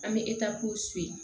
An bɛ